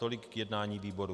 Tolik k jednání výboru.